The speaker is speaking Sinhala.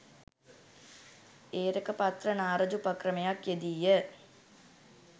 ඒරකපත්‍ර නා රජ උපක්‍රමයක් යෙදී ය.